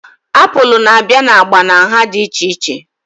Apụl na-abịa na agba na nha dị iche iche